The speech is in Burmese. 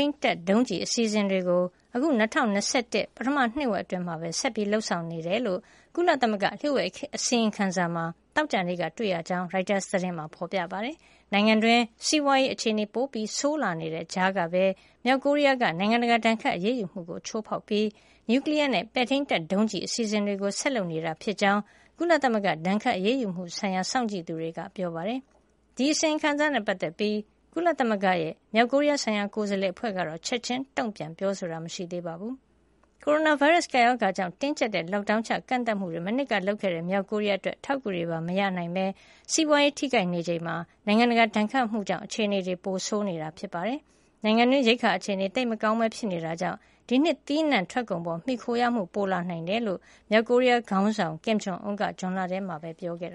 န်းတပ်ဒုံးကျည်အစီအစဉ်တွေကို အခု ၂၀၂၁ ခုနှစ် ပထမနှစ်ဝက် အတွင်းမှာ ဆက်လက် လုပ်ဆောင်နေကြောင်း ကုလသမဂ္ဂ လျိူ့ဝှက်အစီရင်ခံစာမှာ သောကြာနေ့က တွေ့ရှိရတယ်လို့ ရိုက်တာသတင်းမှာ ဖေါ်ပြထားပါတယ်။ နိုင်ငံတွင်း စီးပွါးရေးအခြေနေပိုဆိုးလာနေတဲ့ကြားကပဲ မြောက်ကိုရီးယားက နိုင်ငံတကာဒဏ်ခတ်အရေးယူမှုကို ချိုးဖေါက်ပြီး နျူကလီယားနဲ့ ပဲ့ထိန်းတပ်ဒုံးကျည် အစီစဉ်တွေကို ဆက်လုပ်နေတာဖြစ်ကြောင်း ကုလသမဂ္ဂဒဏ်ခတ်အရေးယူမှု ဆိုင်ရာ စောင့်ကြည့်သူတွေက ပြောပါတယ်။ ဒီအစီရင်ခံစာနဲ့ ပတ်သက်ပြီး ကုလသမဂ္ဂရဲ့ မြောက်ကိုရီးယားဆိုင်ရာ ကိုယ်စားလှယ်အဖွဲ့ကတော့ ချက်ချင်းတုံ့ပြန်ပြောဆိုတာ မရှိသေးပါဘူး။ ကိုရိုနာဗိုင်းရပ်စ် ကပ်ရောဂါကြောင့် တင်းကြပ်တဲ့ Lockdown ချကန့်သတ်မှုတွေ မနှစ်က လုပ်ခဲ့တဲ့ မြောက်ကိုရီးယား အတွက် အထောက်အကူတွေပါ မရနိုင်ပဲ ကုန်သွယ်ရေး ကျဆင်းပြီး စီးပွါးရေးထိခိုက်နေချိန်မှာ နိုင်ငံတကာ ဒဏ်ခတ်အရေးယူမှုကြောင့် အခြေနေ ပိုဆိုးခဲ့ရတာပါ။ နိုင်ငံတွင်း ရိက္ခာအခြေနေ သိပ်မကောင်းပဲ ဖြစ်နေတာကြောင့် ဒီနှစ် သီးနှံထွက်ကုန်ပေါ် မှီခိုရမှု ပိုလာနိုင်တယ်လို့ မြောက်ကိုရီးယားခေါင်းဆောင် Kim Jong Un က ဇွန်လထဲမှာပဲ ပြောကြားခဲ့